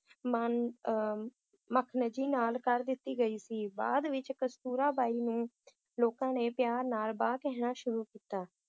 ਮਾਨ~ ਅਹ ਮਖਨਜੀ ਨਾਲ ਕਰ ਦਿੱਤੀ ਗਈ ਸੀ ਬਾਅਦ ਵਿਚ ਕਸਤੂਰਾ ਬਾਈ ਨੂੰ ਲੋਕਾਂ ਨੇ ਪਿਆਰ ਨਾਲ ਬਾਂ ਕਹਿਣਾ ਸ਼ੁਰੂ ਕੀਤਾ